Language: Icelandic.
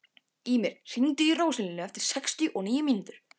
Ýmir, hringdu í Róselíu eftir sextíu og níu mínútur.